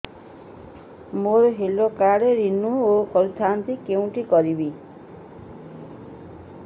ମୋର health card renew କରିଥାନ୍ତି କୋଉଠି କରିବି